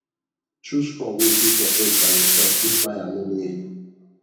chose crop wey u fit process by urself if buyer nor near you